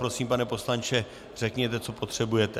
Prosím, pane poslanče, řekněte, co potřebujete.